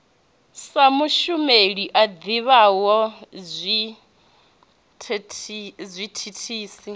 sa mushumeli a ḓivhaho zwithithisi